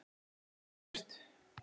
Anita Björt.